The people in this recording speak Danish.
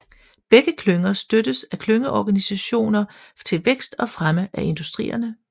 Begge klynger støttes af klyngeorganisationer til vækst og fremme af industrierne